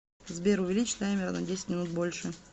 сбер увеличь таймер на десять минут больше